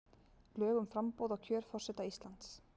Lög um framboð og kjör forseta Íslands.